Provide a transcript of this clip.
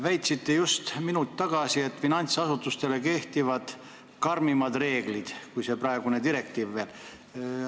Väitsite just minut tagasi, et finantsasutuste kohta kehtivad karmimad reeglid, kui on selles direktiivis.